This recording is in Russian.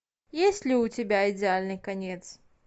есть ли у тебя идеальный конец